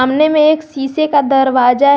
सामने में एक शीशे का दरवाजा है।